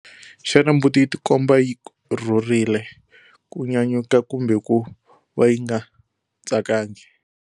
Xana mbuti yi tikomba yi rhurile, ku nyanyuka kumbe ku va yi nga tsakangi?